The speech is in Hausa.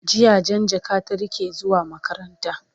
jiya Jan jaka ta rike zuwa makaranta